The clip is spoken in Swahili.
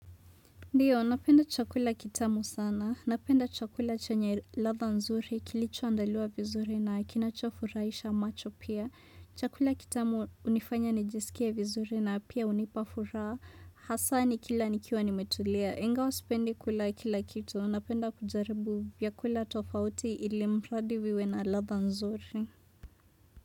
Ndiyo, napenda chakula kitamu sana, napenda chakula chenya ladha nzuri, kilichoandaliwa vizuri na kinachofuraisha macho pia, chakula kitamu unifanya nijiskie vizuri na pia unipa furaha, hasa nikila nikiwa nimetulia, ingawa sipendi kula kila kitu, napenda kujaribu vyakula tofauti ili mradi viwe na ladha nzuri.